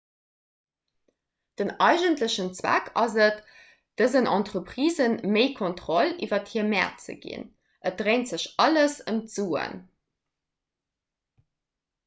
den eigentlechen zweck ass et dësen entreprisë méi kontroll iwwer hir mäert ze ginn et dréint sech alles ëm d'suen